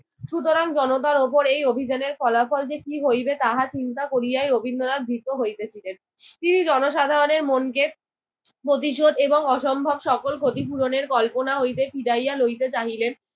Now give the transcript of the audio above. সুতরাং জনতার উপর এই অভিযানের ফলাফল যে কি হইবে তাহা চিন্তা করিয়াই রবীন্দ্রনাথ ভীত হইতেছিলেন। তিনি জনসাধারণের মনকে প্রতিশোধ এবং অসম্ভব সকল ক্ষতিপূরণের কল্পনা হইতে ফিরাইয়া লইতে চাহিলেন।